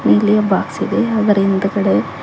ಇಲ್ಲಿಯ ಬಾಕ್ಸ್ ಇದೆ ಅದರ ಹಿಂದಗಡೆ--